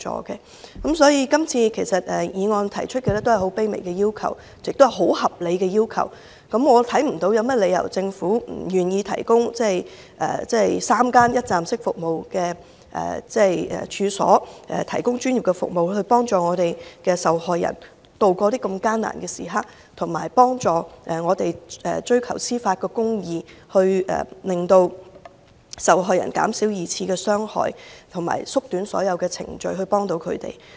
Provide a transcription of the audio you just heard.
今次議案提出的只是很卑微的要求，亦很合理，我看不到政府有甚麼理由不願意提供3間一站式服務的處所，提供專業服務，以幫助受害人度過艱難時刻，協助他們追求司法公義，減少對受害人的二次傷害，同時，縮短所有程序來協助他們。